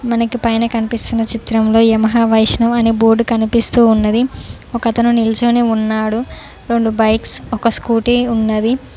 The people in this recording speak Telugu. మనకి పైన కనిపిస్తున్న చిత్రంలో యమహా వైష్ణవి అని బోర్డు కనిపిస్తూ ఉన్నది ఒకతను నిల్చొని ఉన్నాడు రెండు బైక్స్ ఒక స్కూటీ ఉన్నది.